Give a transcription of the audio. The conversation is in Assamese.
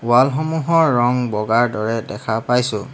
ৱাল সমূহৰ ৰং বগাৰ দৰে দেখা পাইছোঁ।